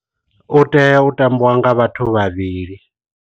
U tea u tambiwa nga vhathu vhavhili.